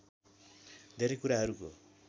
धेरै कुराहरूको